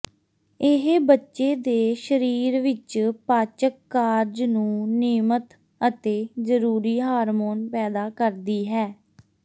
ਇਹ ਬੱਚੇ ਦੇ ਸਰੀਰ ਵਿੱਚ ਪਾਚਕ ਕਾਰਜ ਨੂੰ ਿਨਯਮਤ ਅਤੇ ਜ਼ਰੂਰੀ ਹਾਰਮੋਨ ਪੈਦਾ ਕਰਦੀ ਹੈ